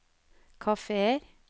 kafeer